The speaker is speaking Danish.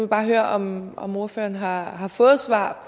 bare høre om om ordføreren har har fået svar